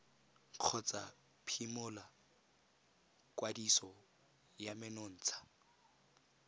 kgotsa phimola kwadiso ya menontsha